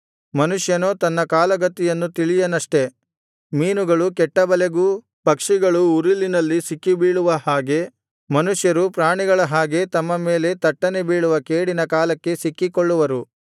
ಮನುಷ್ಯನೋ ತನ್ನ ಕಾಲ ಗತಿಯನ್ನು ತಿಳಿಯನಷ್ಟೆ ಮೀನುಗಳು ಕೆಟ್ಟ ಬಲೆಗೂ ಪಕ್ಷಿಗಳು ಉರುಲಿನಲ್ಲಿ ಸಿಕ್ಕಿಬೀಳುವ ಹಾಗೆ ಮನುಷ್ಯರು ಪ್ರಾಣಿಗಳ ಹಾಗೆ ತಮ್ಮ ಮೇಲೆ ತಟ್ಟನೆ ಬೀಳುವ ಕೇಡಿನ ಕಾಲಕ್ಕೆ ಸಿಕ್ಕಿಕೊಳ್ಳುವರು